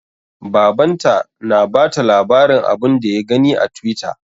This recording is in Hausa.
Baban ta na bata labarin abun da ya gani a twitter